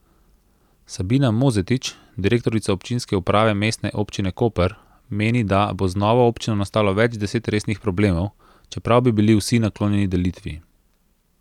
Sabina Mozetič, direktorica občinske uprave Mestne občine Koper, meni, da bo z novo občino nastalo več deset resnih problemov, čeprav bi bili vsi naklonjeni delitvi.